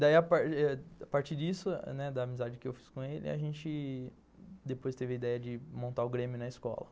Daí, a partir disso, da amizade que eu fiz com ele, a gente depois teve a ideia de montar o Grêmio na escola.